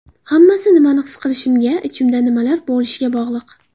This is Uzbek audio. Hammasi nimani his qilishimga, ichimda nimalar bo‘lishiga bog‘liq.